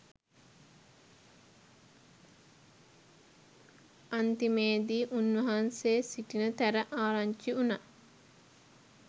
අන්තිමේදී උන්වහන්සේ සිටින තැන ආරංචි වුනා.